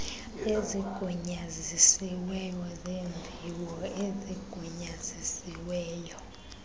ezigunyazisiweyo zeemviwo ezigunyazisiweyo